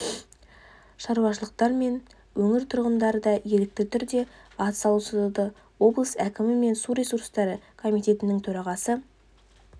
шаруашылықтар мен өңір тұрғындары да ерікті түрде атсалысуда облыс әкімі мен су ресурстары комитетінің төрағасы